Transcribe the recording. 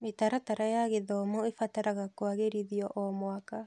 Mĩtaratara ya gĩthomo ĩbataraga kũagĩrithio o mwaka.